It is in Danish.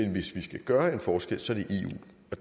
vi gør jeg forstår